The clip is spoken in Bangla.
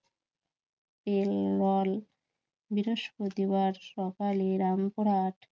মল বৃহস্পতিবার সকালে, রামপুরহাট